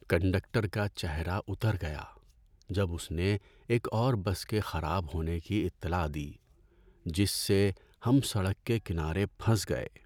Conductor کا چہرہ اتر گیا جب اس نے ایک اور بس کے خراب ہونے کی اطلاع دی، جس سے ہم سڑک کے کنارے پھنس گئے۔